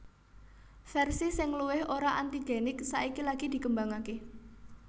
Versi sing luwih ora antigenik saiki lagi dikembangake